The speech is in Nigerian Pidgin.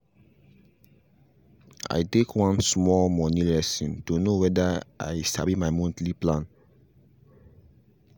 i take one small moni lesson to know wether i sabi my monthly planning